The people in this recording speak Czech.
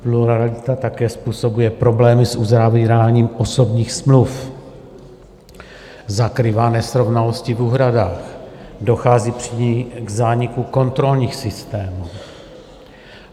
Pluralita také způsobuje problémy s uzavíráním osobních smluv, zakrývá nesrovnalosti v úhradách, dochází při ní k zániku kontrolních systémů.